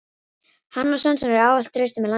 Hann og Svensson eru ávallt traustir með landsliðinu.